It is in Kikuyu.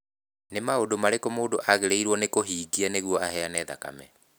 Nĩ maũndũ marĩkũ mũndũ agĩrĩirũo nĩ kũhingia nĩguo aheane thakame?